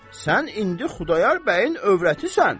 Sən indi Xudayar bəyin övrətisən.